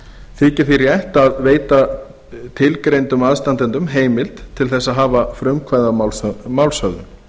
þykir því rétt að veita tilgreindum aðstandendum heimild til þess að hafa frumkvæði að málshöfðun